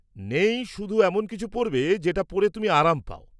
-নেই, শুধু এমন কিছু পরবে যেটা পরে তুমি আরাম পাও।